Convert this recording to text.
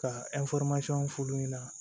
Ka f'u ɲɛna